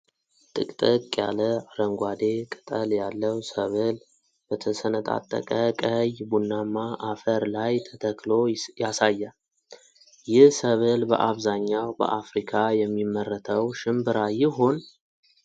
ጥቅጥቅ ያለ አረንጓዴ ቅጠል ያለው ሰብል በተሰነጣጠቀ ቀይ ቡናማ አፈር ላይ ተተክሎ ያሳያል። ይህ ሰብል በአብዛኛው በአፍሪካ የሚመረተው ሽንብራ ይሆን?